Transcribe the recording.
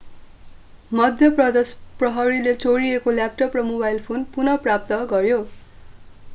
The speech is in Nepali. मध्य प्रदेश प्रहरीले चोरिएको ल्यापटप र मोबाइल फोन पुन: प्राप्त गर्‍यो।